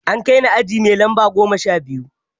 An kai ni aji mai lamba goma sha biyu.